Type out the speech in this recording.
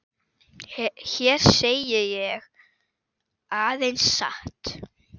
Hér segi ég aðeins satt.